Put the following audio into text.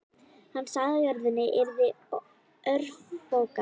Hann sagði að jörðin yrði örfoka.